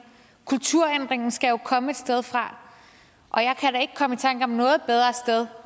kulturændringen skal jo komme et sted fra og jeg kan da ikke komme i tanker om noget bedre sted